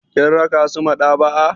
Kin raka su maɗaba'a.